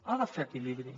ha de fer equilibri